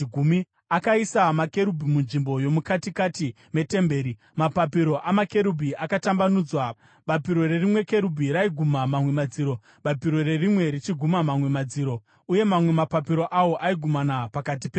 Akaisa makerubhi munzvimbo yomukatikati metemberi, mapapiro amakerubhi akatambanudzwa. Bapiro rerimwe kerubhi raiguma mamwe madziro, bapiro rerimwe richiguma mamwe madziro uye mamwe mapapiro awo aigumana pakati peimba.